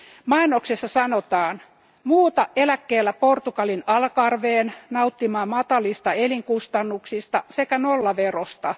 Mainoksessa sanotaan Muuta eläkkeellä Portugalin Algarveen nauttimaan matalista elinkustannuksista sekä nollaverosta.